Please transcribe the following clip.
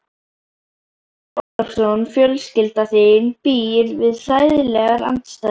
Andri Ólafsson: Fjölskylda þín býr við hræðilegar aðstæður?